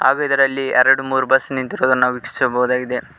ಹಾಗೂ ಇದರಲ್ಲಿ ಎರಡು ಮೂರು ಬಸ್ ನಿಂತಿರುವುದನ್ನು ನಾವು ವೀಕ್ಷಿಸಬಹುದಾಗಿದೆ.